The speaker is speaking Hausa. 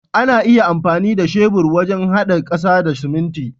Ana iya amfani da shebur wajen hada kasa da siminti.